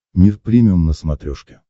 мир премиум на смотрешке